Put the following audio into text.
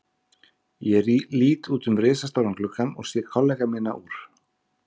Ég lít út um risastóran gluggann og sé kollega mína úr